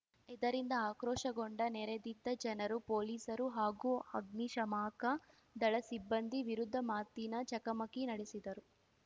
ಇದರಿಂದ ಆಕ್ರೋಶಗೊಂಡ ನೆರೆದಿದ್ದ ಜನರು ಪೊಲೀಸರು ಹಾಗೂ ಅಗ್ನಿಶಾಮಕ ದಳ ಸಿಬ್ಬಂದಿ ವಿರುದ್ಧ ಮಾತಿನ ಚಕಮಕಿ ನಡೆಸಿದರು